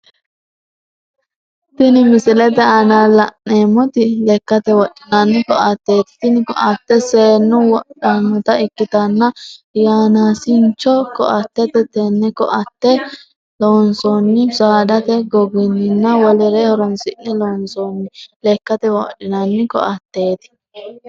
Tini misilete aanna la'neemoti lekate wodhinnanni koateeti tini koate seenu wodhanota ikitanna yanaasincho koateeti tene koate loonsoonihu saadate goginninna wolere horoonsi'ne loonsoonni lekate wodhinnanni koateeti